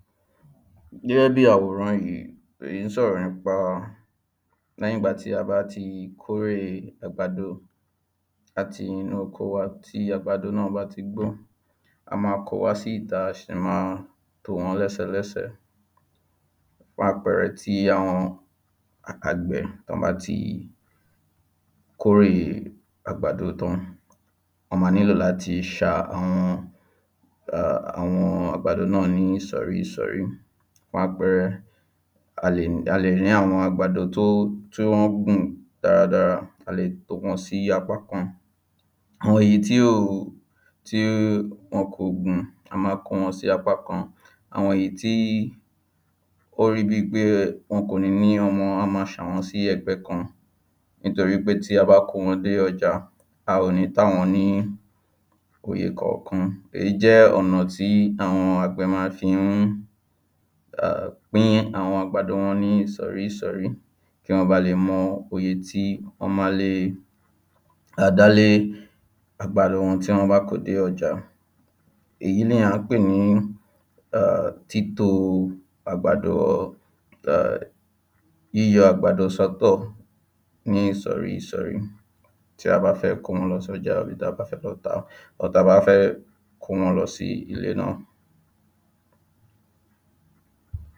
Gẹ́gẹ́ bí àwòrán yìí èyí ń sọ̀rọ̀ nìpa léyìn ìgbà tí a bá ti kó èrè àgbàdo láti inú oko wa tí àgbàdo náà bá ti gbó A máa ko wá sí ìta a sì máa tò wọ́n lẹ́sẹlẹ́sẹ Fún àpẹẹrẹ tí àwọn àgbẹ̀ tán bá ti kórè àgbàdo tán wọ́n ma ní lò láti ṣa àwọn uhm àwọn àgbàdo náà ní ìsọ̀rí ìsọ̀rí Fún àpẹẹrẹ a lè ní àwọn àgbàdo tó ó tí wọ́n gùn dáradára a le tò wọ́n sí apákan Mọ èyí tí ò o tí wọn kò gùn a ma kó wọn sí apákan Àwọn èyí tí ó rí bí i pé wọn kò ní ní ọmọ a máa ṣà wọ́n sí ẹ̀gbẹ́ kan nítorí pé tí a bá kó wọn dé ọjà a ò ní tà wọ́n ní uye kọ̀ọ̀kan Èyí jẹ́ ọ̀nà tí àwọn àgbẹ̀ ma ń fi hún [ahm] pín àwọn àgbàdo wọn ní ìsọ̀rí ìsọ̀rí kí wọ́n ba le mọ uye tí wọ́n ma le e à dálé àgbàdo wọn tí wọ́n bá ko dé ọjà Èyí ni à ń pè ní í ehm títo àgbàdo ehm yíyọ àgbàdo sọ́ tọ̀ ní ìsọ̀rí ìsọ̀rí tí a bá fẹ́ kó wọn lọ sọ́jà tàbí ta bá fẹ́ lọ tà á ta bá fẹ́ kó wọn lọ sí ilé náà